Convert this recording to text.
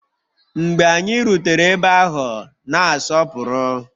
Mgbe anyị rutere ebe ahụ, na-asọpụrụ